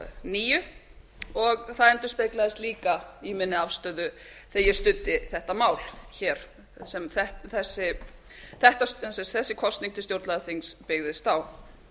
níu og það endurspeglaðist líka í minni afstöðu þegar ég studdi þetta mál hér sem þessi kosning til stjórnlagaþings byggðist á